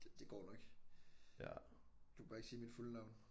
Det det går nok. Du bare ikke sige mit fulde navn